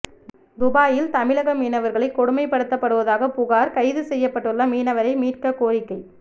துபாயில் தமிழக மீனவர்கள் கொடுமைப்படுத்தப்படுவதாக புகார் கைது செய்யப்பட்டுள்ள மீனவரை மீட்கக் கோரிக்கை